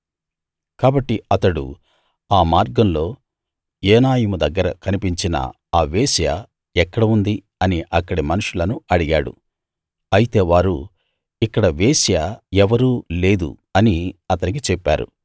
కాబట్టి అతడు ఆ మార్గంలో ఏనాయిము దగ్గర కనిపించిన ఆ వేశ్య ఎక్కడ ఉంది అని అక్కడి మనుషులను అడిగాడు అయితే వారు ఇక్కడ వేశ్య ఎవరూ లేదు అని అతనికి చెప్పారు